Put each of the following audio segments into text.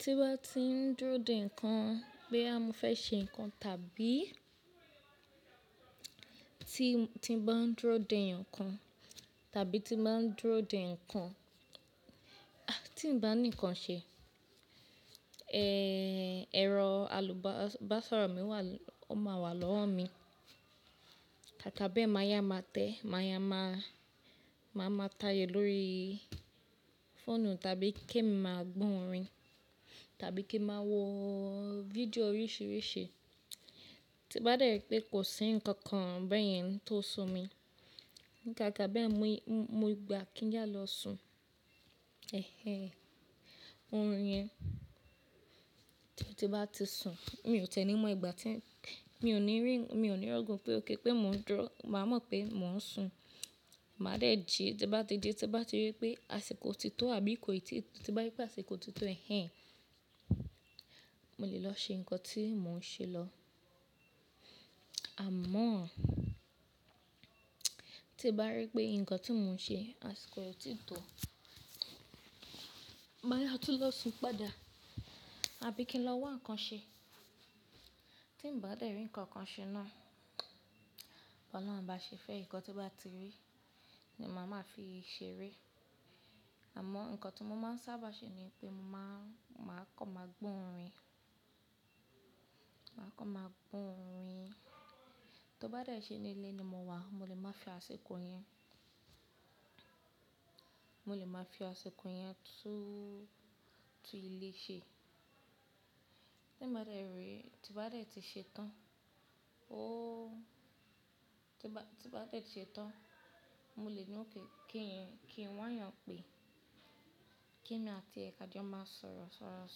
Ti ń bá ti ń dúró dè nǹkan, bóyá mo fé ṣe nǹkan tàbí ti bá ń dúró dè nǹkan tàbí ti bá ń dúró dè nǹkan, ti ń bá ni nǹkan ṣe, ẹ̀rọ àlùbásoro mi wà, ó máa wà lọ́wọ́ mi. Kákà bee, mà yá máa tẹ, mà yá máa, màá máa taayọ̀ lórí fóònù tàbí ke mí máa gbón orìn tàbí kí n máa wo vidiò oríṣiríṣi. Ti bá dẹ́rì pé kò sí nǹkan kan bẹ́ẹ̀ yẹn tó sùn mi, Kákà bee, mó gbà kí n yá lọ sun. Ẹ̀hè. Òrun yẹn, tí bá ti sùn, mi ò tí ẹ nì mọ́ ìgbà tí, mi ò ní rí, mi ò ní rọ̀gùn pé ó ké pé mó ń dúrọ́, màá mọ̀ pé mò ń sùn. Màá dẹ̀ jí, ti bá dẹ̀ jí, ti bá dẹ̀ rí pé àsìkò ti tó àbí kò ì tí, ti bá rí pé àsìkò ti tó, ẹ̀hèn, mo lè lọ ṣe nǹkan tí mò ń ṣe lọ. Àmọ́, ti bá rí pé nǹkan tí mò ń ṣe àsìkò ò tí ì tó, màá yá tú lọ sùn padà àbí kí n lọ wó nǹkan ṣe. Ti bá dẹ̀ rí nǹkan kan ṣe náà, bọ̀lun bá ṣe fẹ́ nǹkan tí ó bá ti rí ni màá máa fi ṣe é ré. Àmọ́ nǹkan ti mo máa ń sábà ṣe ni pé mo máa kọ́ máa gbónrìn. Máa kọ́ máa gbónrìn. Tó bá dẹ̀ ṣe ní ilé ni mo wà, mo lè máa fi àsìkò yẹn, mo lè máa fi àsìkò yẹn tú ilé ṣe. Ti bá dẹ̀ rí, ti bá dẹ̀ ti ṣe tán, óò, ti bá dẹ̀ ṣe tán, mo lè ni ó ké kí n wá yàn pè kí mi àti ẹ̀kàjò máa sọ̀rọ̀ sọ̀rọ̀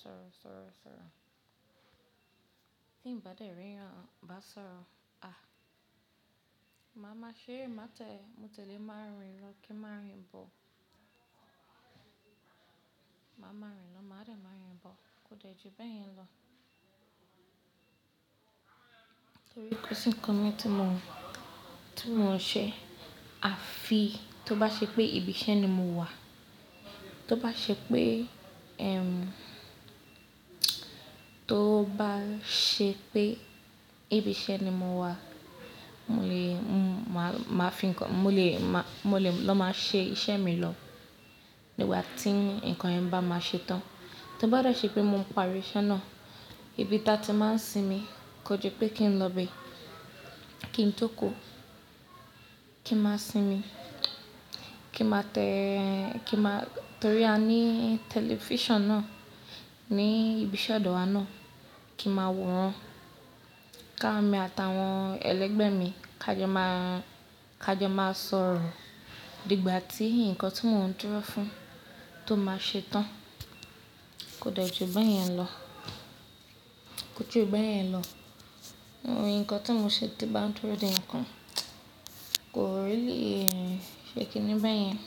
sọ̀rọ̀ sọ̀rọ̀ sọ̀rọ̀. Ti bá dẹ̀ rí wà bá sọ̀rọ̀, a! Màá máa ṣeré, má tẹ̀, mo tèlé máa rin lọ, kí n máa rin bọ̀. Màá máa rin lọ, màá dẹ̀ rin bọ̀. Kò dẹ̀ jí bẹ́ẹ̀ yẹn lọ. Nitorí kò sí nǹkan mí ti mò ń ṣe. Àfi, tó bá ṣe pé ibi iṣẹ́ ni mo wà, tó bá ṣe pé, èm, tó bá ṣe pé ibi iṣẹ́ ni mo wà, mo lè, màá fi nǹkan, mo lè lọ máa ṣe iṣẹ́ mi lọ nìgbà tí nǹkan yẹn bá máa ṣe tán. Tó bá dẹ̀ ṣe pé mò ń parí iṣẹ́ náà, ibi ta ti máa ń sinmi kò jé pé kí ń lọ ibẹ̀, kí ń tókù, kí ń máa sinmi, kí ń máa tẹ, kí ń máa, torí a ní tẹlifíṣọ̀n náà ní ibi iṣẹ́ ọ̀dọ́ wa náà, kí ń máa wò ran ká mi àtàwọn ẹlẹ́gbẹ́ mi ká jọ máa sọ̀rọ̀ dígbà tí nǹkan tí mò ń dúrọ́ fún tó máa ṣe tán. Kò dẹ̀ jí bẹ́ẹ̀ yẹn lọ. Kò jú bẹ́ẹ̀ yẹn lọ. Òun, nǹkan tí mo ṣe ti bá ń dúró dè nǹkan kò really i ṣe kíní bẹ́ẹ̀ yẹn.